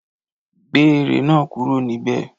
Gbé ère náà kúrò níbẹ̀!